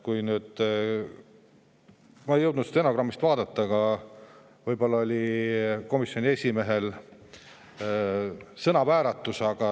Ma ei jõudnud stenogrammist järele vaadata, võib-olla komisjoni esimehel keel vääratas.